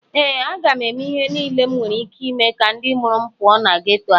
ee, a ga m eme ihe niile enwere ike ime ka ndị mụrụ m pụọ na geto a